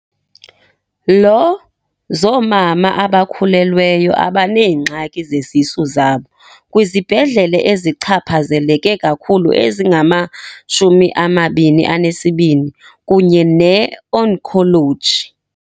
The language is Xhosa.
lo zoomama abakhulelweyo abaneengxaki ngezisu zabo kwizibhedlela ezichapha zeleke kakhulu ezingama-22 kunye neoncology .